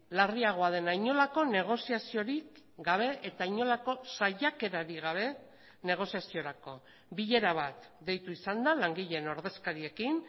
larriagoa dena inolako negoziaziorik gabe eta inolako saiakerarik gabe negoziaziorako bilera bat deitu izan da langileen ordezkariekin